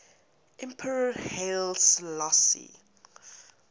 emperor haile selassie